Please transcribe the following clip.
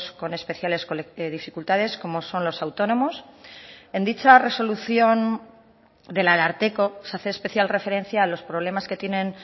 con especiales dificultades como son los autónomos en dicha resolución del ararteko se hace especial referencia a los problemas que tienen